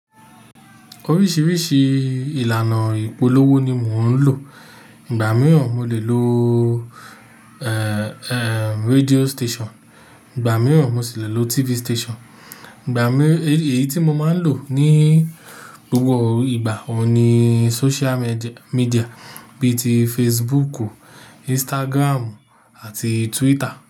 Oríṣiríṣi ìlànà ìpolówó ni mò ń lò. Ìgbà mìíràn mo lè lo, eh, eh, radio station, ìgbà mìíràn mo sì le lo TV station. Ìgbà mí, èyí tí mo máa ń lò ní gbogbo ìgbà òní social med-media bí i ti Facebook, Instagram àti Twitter.